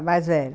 A mais velha.